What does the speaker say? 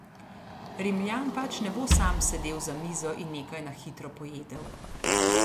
Rimljan pač ne bo sam sedel za mizo in nekaj na hitro pojedel.